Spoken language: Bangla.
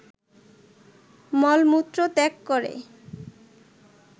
মলমূত্র ত্যাগ করে